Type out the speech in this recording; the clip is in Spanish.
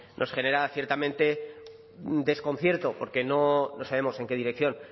nos genera ciertamente un desconcierto porque no sabemos en qué dirección